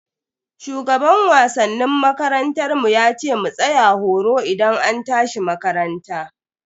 Shugaban wasannin makarantar mu yace mu tsaya horo idan an tashi makaranta.